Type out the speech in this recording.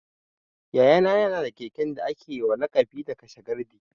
Yaya na ya na da keken da ake wa laƙani da 'kashe gardi'